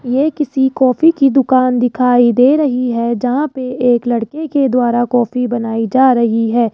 ये किसी कॉफ़ी की दुकान दिखाई दे रही हैं जहां पे एक लड़के के द्वारा कॉफी बनाई जा रही हैं।